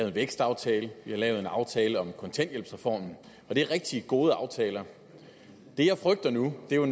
en vækstaftale vi har lavet en aftale om en kontanthjælpsreform og det er rigtig gode aftaler det jeg frygter nu er